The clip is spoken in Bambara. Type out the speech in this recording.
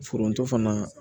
Foronto fana